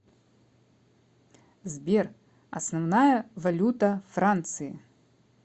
сбер основная валюта франции